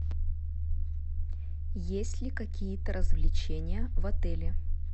есть ли какие то развлечения в отеле